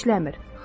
Bu işləmir.